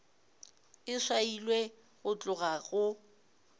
e swailwe go tloga go